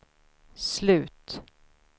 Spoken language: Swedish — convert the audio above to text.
slut